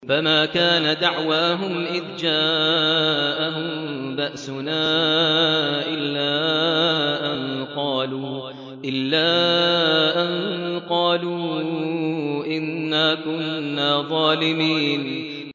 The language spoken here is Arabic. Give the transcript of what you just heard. فَمَا كَانَ دَعْوَاهُمْ إِذْ جَاءَهُم بَأْسُنَا إِلَّا أَن قَالُوا إِنَّا كُنَّا ظَالِمِينَ